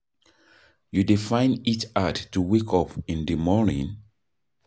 You dey find it hard to wake up in di morning?